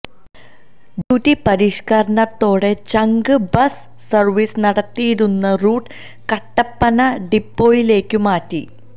duty പരിഷ്കരണത്തോടെ ചങ്ക് bus service നടത്തിയിരുന്ന റൂട്ട് കട്ടപ്പന ഡിപ്പോയിലേക്കു മാറ്റി